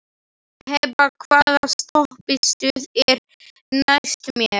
Hebba, hvaða stoppistöð er næst mér?